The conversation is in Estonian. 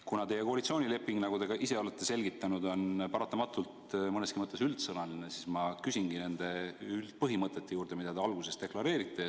Kuna teie koalitsioonileping, nagu te ka ise olete selgitanud, on paratamatult mõneski mõttes üldsõnaline, siis ma küsingi nende üldpõhimõtete kohta, mida te seal alguses deklareerite.